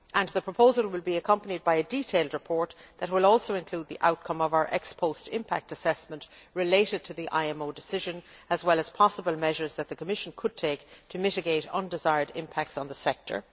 The proposal will be accompanied by a detailed report that will also include the outcome of our ex post impact assessment relating to the IMO decision, as well as possible measures that the Commission could take to mitigate undesired impacts on the sector.